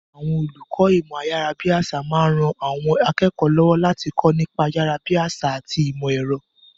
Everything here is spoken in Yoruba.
Àwọn olùkọ́ ìmọ̀ ayárabíàṣá máa ń ran àwọn akẹ́kọ̀ọ́ lọ́wọ́ láti kọ́ nípa ayárabíàṣá àti ìmọ̀ ẹ̀rọ.